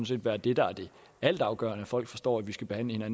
set være det der er altafgørende at folk forstår at vi skal behandle